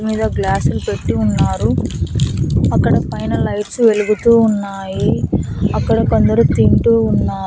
మీద గ్లాసులు పెట్టి ఉన్నారు అక్కడ పైన లైట్స్ వెలుగుతూ ఉన్నాయి అక్కడ కొందరు తింటూ ఉన్నారు.